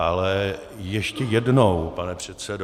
Ale ještě jednou, pane předsedo.